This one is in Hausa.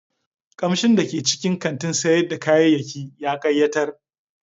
Kamshin da ke cikin kantin sayar da kayayyaki ya kayatar.